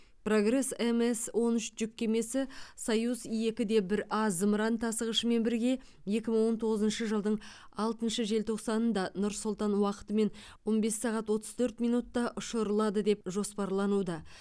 прогресс мс он үш жүк кемесі союз екі де бір а зымыран тасығышымен бірге екі мың он тоғызыншы жылдың алтыншы желтоқсанында нұр сұлтан уақытымен он бес сағат отыз төрт минутта ұшырылады деп жоспарлануда